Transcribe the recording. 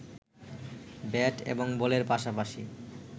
bat এবং বলের পাশাপাশি